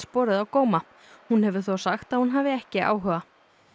borið á góma hún hefur þó sagt að hún hafi ekki áhuga